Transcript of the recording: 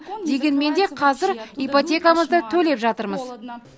дегенменде қазір ипотекамызды төлеп жатырмыз